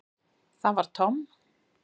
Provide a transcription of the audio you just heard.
Það var Tom.